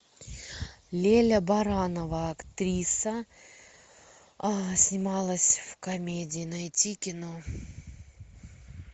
леля баранова актриса снималась в комедии найти кино